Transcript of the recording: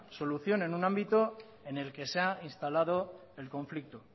solución en un ámbito en el que se ha instalado el conflicto